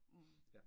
Mh